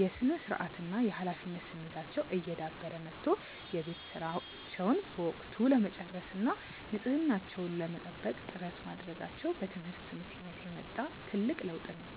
የሥነ-ስርዓትና የኃላፊነት ስሜታቸው እየዳበረ መጥቶ የቤት ሥራቸውን በወቅቱ ለመጨረስና ንጽሕናቸውን ለመጠበቅ ጥረት ማድረጋቸው በትምህርት ምክንያት የመጣ ትልቅ ለውጥ ነው።